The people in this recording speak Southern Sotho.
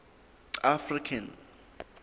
african